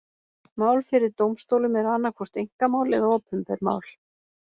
Mál fyrir dómstólum eru annað hvort einkamál eða opinber mál.